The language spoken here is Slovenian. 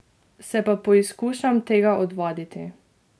Se pa poizkušam tega odvaditi.